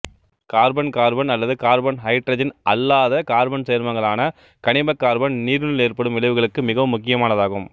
carbon carbon அல்லது carbon hydrogen அல்லாத carbon சேர்மங்களான கனிம கார்பன் நீரினுள் ஏற்படும் விளைவுகளுக்கு மிகவும் முக்கியமானதாகும்